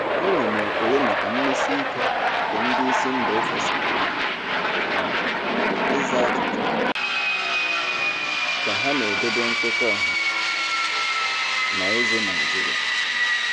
Enwere m ekele maka mmesi ike nke ndị isi mba ofesi na um ịza ajụjụ um ka ha na-edobe nkwekọ ọha na eze Naijiria.